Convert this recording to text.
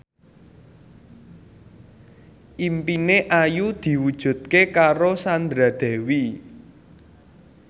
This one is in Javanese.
impine Ayu diwujudke karo Sandra Dewi